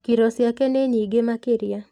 Kiro ciake nĩ nyingĩ makĩria.